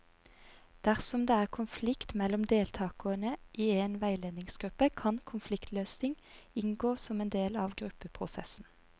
Dersom det er konflikt mellom deltakere i en veiledningsgruppe, kan konfliktløsning inngå som en del av gruppeprosessen.